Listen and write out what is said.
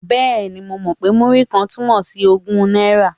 Bẹ́ẹ̀ni, mo mọ̀ pé Múrí-kan túmọ̀ sí ogún náírà.